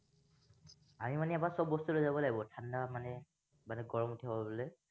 আমি মানে ইয়াৰ পৰা চব বস্তু লৈ যাব লাগিব ঠাণ্ডা মানে মানে গৰম উঠাবলৈ